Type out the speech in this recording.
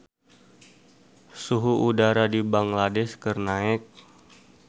Suhu udara di Bangladesh keur naek